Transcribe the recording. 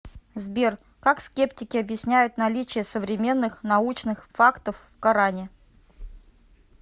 сбер как скептики объясняют наличие современных научных фактов в коране